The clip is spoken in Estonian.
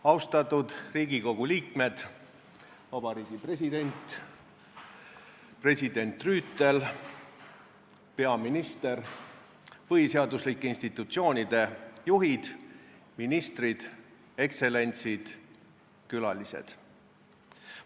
Austatud Riigikogu liikmed, Vabariigi President, president Rüütel, peaminister, põhiseaduslike institutsioonide juhid, ministrid, ekstsellentsid ja külalised!